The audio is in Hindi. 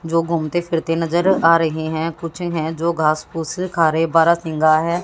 जो घूमते फिरते नजर आ रहे हैं कुछ हैं जो घासपुस खा रहे बारहसिंगा है।